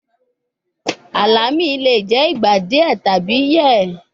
Alami le jẹ igba diẹ tabi yẹ